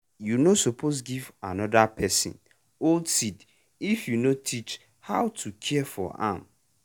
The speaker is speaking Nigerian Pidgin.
you no suppose give another person old seed if you no teach how to care for am.